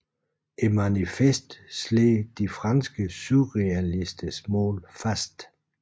Manifestet slår de franske surrealisters mål fast